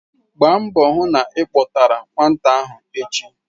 Gbaa mbọ hụ na ị kpọtara nwata ahụ echi!